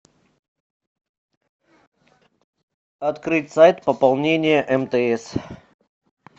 открыть сайт пополнение мтс